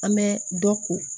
An bɛ dɔ ko